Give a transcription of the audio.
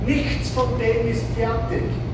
Nichts von dem ist fertig.